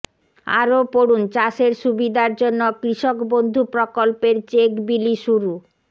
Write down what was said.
আরও পড়ুন চাষের সুবিধার জন্য কৃষকবন্ধু প্রকল্পের চেক বিলি শুরু